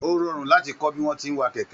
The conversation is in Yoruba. O rọrun láti kọ bí wọn tí n wà kẹkẹ